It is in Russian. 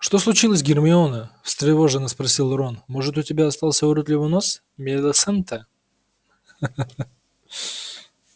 что случилось гермиона встревоженно спросил рон может у тебя остался уродливый нос милисенты ха-ха-ха